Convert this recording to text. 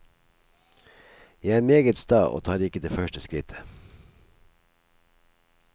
Jeg er meget sta og tar ikke det første skrittet.